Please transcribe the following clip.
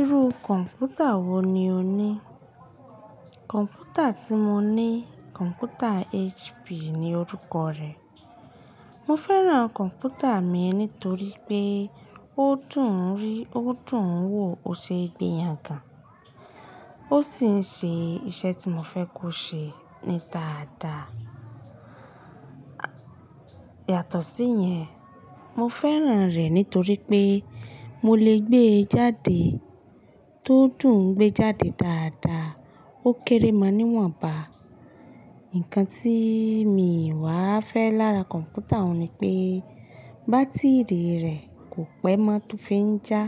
Irú kọ̀ǹpútà wo ni o ní? Kọ̀ǹpútà tí mo ní, kọ̀ǹpútà HP ni orúkọ rẹ̀. Mo fẹ́ràn kọ̀ǹpútà mi nítorí pé ó dùn rí, ó dùn wò, ó ṣe ìgbéyàn gan. Ó sì ń ṣe iṣẹ́ tí mo fẹ́ kó ṣe ní dáadáa. Yàtọ̀ sí yẹn, mo fẹ́ràn rẹ̀ nítorí pé mo lè gbé e jáde, tó dùn gbé e jáde dáadáa, ó kéré máa níwọ̀nba. Ǹkan tí mi wá fẹ́ lára kọ̀ǹpútà òun ni pé bátìrì rẹ̀ kò pẹ́ mọ́ tó fi ń já,